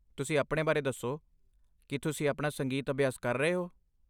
ਤੁਸੀਂ ਆਪਣੇ ਬਾਰੇ ਦੱਸੋ, ਕੀ ਤੁਸੀਂ ਆਪਣਾ ਸੰਗੀਤ ਅਭਿਆਸ ਕਰ ਰਹੇ ਹੋ?